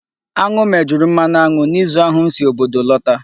Aṅụ mejuru mmanụ aṅụ n'izu ahụ m si obodo lota.